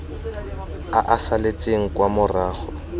a a saletseng kwa morago